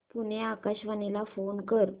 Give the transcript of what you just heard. पुणे आकाशवाणीला फोन कर